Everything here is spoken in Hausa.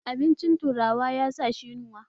Abincin turawa ya sa shi yunwa